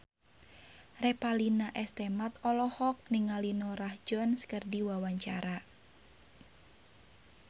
Revalina S. Temat olohok ningali Norah Jones keur diwawancara